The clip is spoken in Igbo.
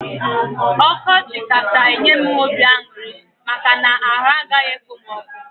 Ọkọchị kacha enye m obi aṅụrị maka na arụ agaghị ekpom ọkụ